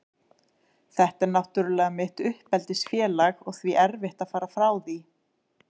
Þetta er náttúrlega mitt uppeldisfélag og því erfitt að fara frá því.